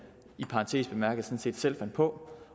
i parentes bemærket sådan set selv fandt på